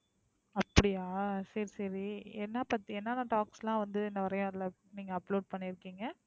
அப்படியா சரி, சரி. என்ன பத்தி, என்ன என்ன talks எல்லாம் வந்து நிறைய அதுல நீங்க upload பண்ணிருக்கீங்க?